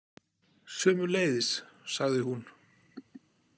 Sömuleiðis, sagði hún.